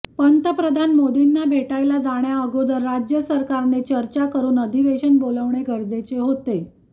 पंतप्रधान मोदींना भेटायला जाण्याअगोदर राज्य सरकारने चर्चा करून अधिवेशन बोलावणे गरजेचे होते